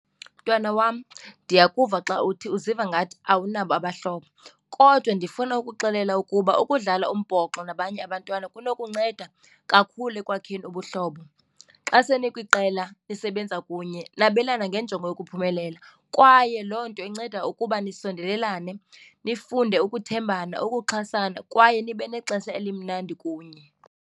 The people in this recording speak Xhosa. Mntwana wam, ndiyakuva xa uthi uziva ngathi awunabo abahlobo kodwa ndifuna ukuxelela ukuba ukudlala umbhoxo nabanye abantwana kunokunceda kakhulu ekwakheni ubuhlobo. Xa senikwiqela nisebenza kunye, nabelane ngenjongo yokuphumelela kwaye loo nto inceda ukuba nisondelane nifunde ukuthembana, ukuxhasana kwaye nibe nexesha elimnandi kunye.